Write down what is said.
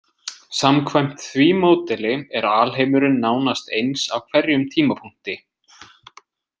Samkvæmt því módeli er alheimurinn nánast eins á hverjum tímapunkti.